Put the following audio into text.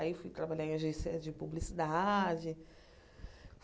Aí fui trabalhar em agência de publicidade.